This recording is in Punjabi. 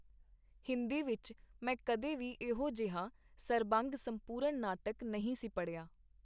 ਹਿੰਦੀ ਵਿਚ ਮੈਂ ਕਦੇ ਵੀ ਇਹੋ ਜਿਹਾ ਸਰਬੰਗ-ਸੰਪੂਰਨ ਨਾਟਕ ਨਹੀਂ ਸੀ ਪੜ੍ਹਿਆ.